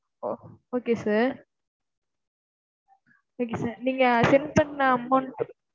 ஓ okay sir okay sir. நீங்க send பண்ண amount